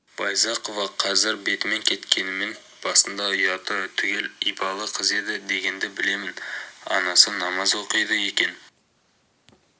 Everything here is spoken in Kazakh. байзақова қазір бетімен кеткенімен басында ұяты түгел ибалы қыз еді дегенді білемін анасы намаз оқиды екен